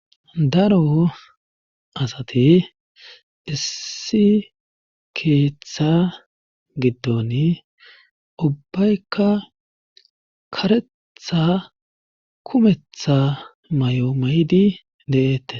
daro asati issi keeththa giddon ubbaykka karettttha kumetha may7o ma7di de7eette